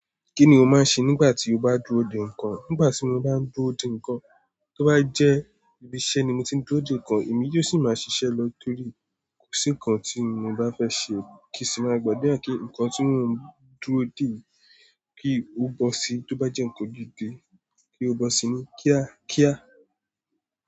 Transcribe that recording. Kí ni o máa ń ṣe nígbà tí o bá dúró dè nǹkan? Nígbà tí mo bá ń dúró dè nǹkan, tó bá jẹ́ ibi iṣẹ́ ni mo ti ń dúró dè nǹkan, èmi yóò sì máa ṣiṣẹ́ lọ torí kò sí nǹkan tí mo bá fẹ́ ṣe kí sì máa gbàdura kí nǹkan tí mo ń dúró dè kí ó bọ́ sí i. Tó bá jẹ́ nǹkan gidi, kí ó bọ́ sí ni kíákíá.